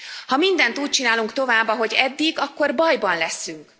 Ha mindent úgy csinálunk tovább, ahogy eddig, akkor bajban leszünk.